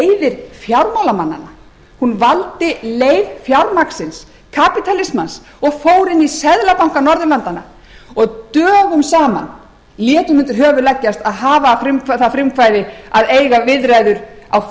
leiðir fjármálamannanna hún valdi leið fjármagnsins kapítalismans og fór inn í seðlabanka norðurlandanna og dögum saman lét hún undir höfuð leggjast að hafa það frumkvæði að eiga viðræður